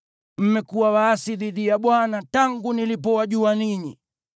Mmekuwa waasi dhidi ya Bwana tangu nilipowajua ninyi.